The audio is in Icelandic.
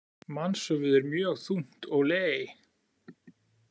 Mannshöfuð er mjög þungt, olé!